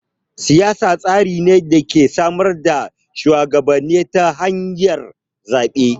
Siyasa tsari ne da ke samar da shuwagabanni ta hanyar zaɓe.